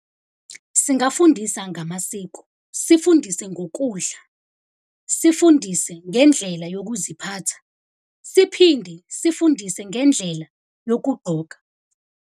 Singafundisa ngamasiko, sifundise ngokudla, sifundise ngendlela yokuziphatha, siphinde sifundise ngendlela yokugqoka.